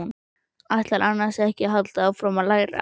Ætlarðu annars ekki að halda áfram að læra?